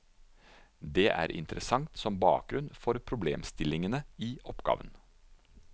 Det er interessant som bakgrunn for problemstillingene i oppgaven.